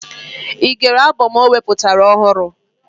Ị gere abọm o wepụtara ọhụrụ?